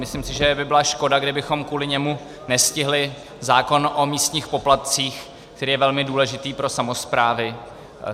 Myslím si, že by byla škoda, kdybychom kvůli němu nestihli zákon o místních poplatcích, který je velmi důležitý pro samosprávy.